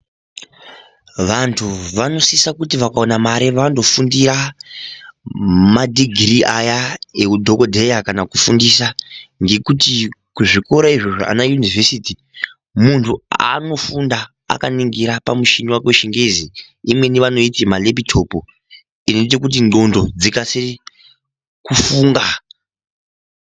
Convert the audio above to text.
Vanthu vanosisa kuti vakaona mare vanondofundira madhigirii aya ekudhokodheya kana kufundisa ngekuti kuzvikora izvi zvana yunivhesiti munthu anofunda vakaningira pamuchini wake wechingezi imweni vanoiti malepitopu inoita kuti ndxondo dzikasire kufunga.